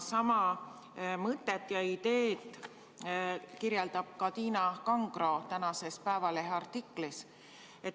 Sama mõtet ja ideed kirjeldab ka Tiina Kangro tänases Eesti Päevalehe artiklis.